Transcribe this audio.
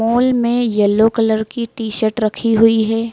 Hall में yellow colour की shirt रखी हुई है।